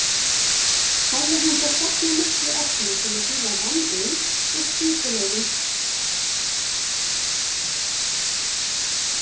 Hefði hann þar safnað miklu efni sem hann síðar vann úr með skipulegum hætti.